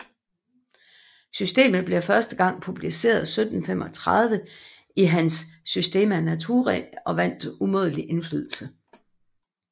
Systemet blev første gang publiceret 1735 i hans Systema Naturae og vandt umådelig indflydelse